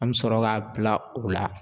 An bɛ sɔrɔ k'a bila o la